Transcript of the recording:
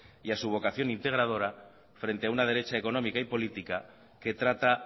y a su vocación integradora frente a una derecha económica y política que trata